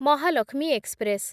Mahalakshmi express